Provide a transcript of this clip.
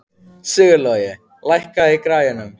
Sigurlogi, lækkaðu í græjunum.